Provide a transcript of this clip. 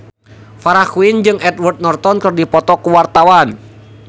Farah Quinn jeung Edward Norton keur dipoto ku wartawan